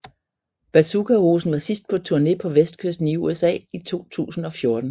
Bazookahosen var sidst på turné på vestkysten i USA i 2007